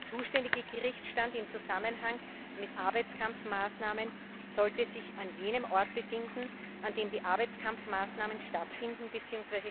Der zuständige Gerichtsstand im Zusammenhang mit Arbeitskampfmaßnahmen sollte sich an jenem Ort befinden, an dem die Arbeitskampfmaßnahmen stattfinden bzw.